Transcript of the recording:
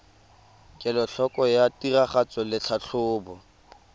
kelotlhoko ya tiragatso le tlhatlhobo